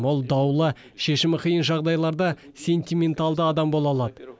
ол даулы шешімі қиын жағдайларда сентименталды адам бола алады